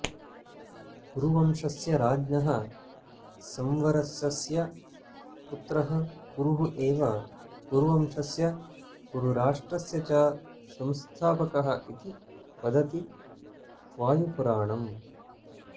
पुरुवंशस्य राज्ञः संवरसस्य पुत्रः कुरुः एव कुरुवंशस्य कुरुराष्ट्रस्य च संस्थापकः इति वदति वायुपुराणम्